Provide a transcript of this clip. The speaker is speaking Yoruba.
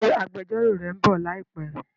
Ṣé agbẹjọ́rò rẹ ń bọ̀ láìpé?